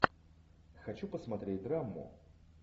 хочу посмотреть драму